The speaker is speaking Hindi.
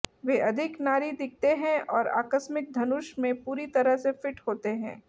वे अधिक नारी दिखते हैं और आकस्मिक धनुष में पूरी तरह से फिट होते हैं